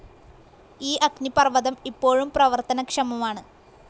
ഈ അഗ്നിപർവതം ഇപ്പോഴും പ്രവർത്തനക്ഷമമാണ്.